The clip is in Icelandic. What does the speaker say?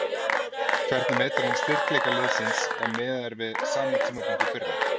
Hvernig metur hann styrkleika liðsins ef miðað er við sama tímapunkt í fyrra?